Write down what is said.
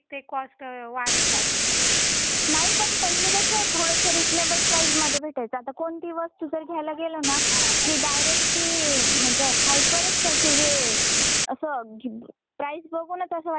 नाही पण पहिल कस थोडस रिजनेबल प्राइज मध्ये भेटायच आता कोणतीही वस्तु जर घ्यायला गेल ना की डायरेक्ट ती ती म्हणजे हाइपरच त्याची जे अस प्राइज बघूनच अस वाटत की नको ब्वा नको आता घ्यायला.